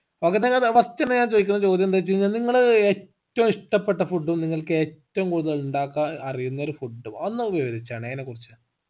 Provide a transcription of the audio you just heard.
നോക്കട്ടെ എന്ന first തന്നെ ചോദിക്കുന്ന ചോദ്യം എന്തവെച്ചു കഴിഞ്ഞ നിങ്ങള് ഏറ്റവും ഇഷ്ടപ്പെട്ട food ഉ നിങ്ങക്ക് ഏറ്റവും കൂടുതൽ ഉണ്ടാക്കാൻ അറിയുന്ന ഒരു food ഉം ഒന്ന് വിവരിച്ചാണെ അയിനെക്കുറിച്ച്